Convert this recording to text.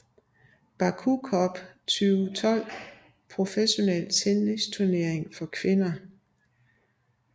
Baku Cup 2012 professionel tennisturnering for kvinder